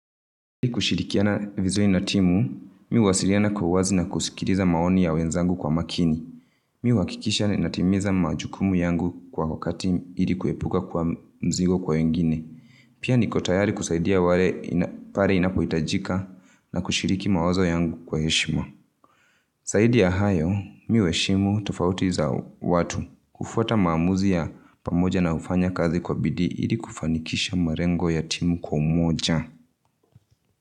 Kushirikiana vizui na timu, mi huwasiriana kuwa wazi na kusikiriza maoni ya wenzangu kwa makini. Mi huwakikisha na timiza majukumu yangu kwa wakati ilikuepuka kuwa mzigo kwa wengine. Pia nikotayari kusaidia pare inapoitajika na kushiriki mawazo yangu kwa heshima. Saidi ya hayo, mi uheshimu tofauti za watu. Kufuata maamuza ya pamoja na ufanya kazi kwa bidi ili kufanikisha marengo ya timu kwa moja.